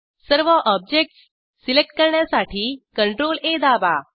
सर्व objects select करण्यासाठी CTRL आ दाबा